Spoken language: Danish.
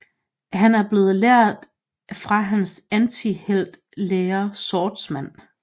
Han er blevet lært fra hans antihelt lærer Swordsman